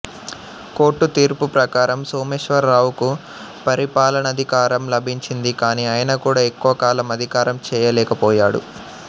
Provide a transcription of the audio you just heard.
court తీర్పు ప్రకారం సోమేశ్వరరావుకు పరిపాలనాధికారం లభించింది కానీ ఆయన కూడా ఎక్కువ కాలం అధికారం చేయలేకపోయాడు